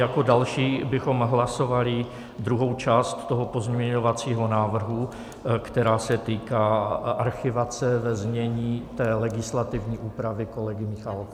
Jako další bychom hlasovali druhou část toho pozměňovacího návrhu, která se týká archivace, ve znění té legislativní úpravy kolegy Michálka.